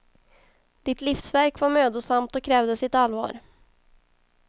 Ditt livsverk var mödosamt och krävde sitt allvar.